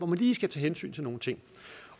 man lige skal tage hensyn til nogle ting